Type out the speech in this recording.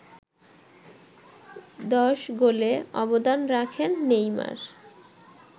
১০ গোলে অবদান রাখেন নেইমার